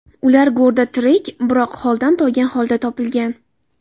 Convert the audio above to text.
Ular g‘orda tirik, biroq holdan toygan holda topilgan .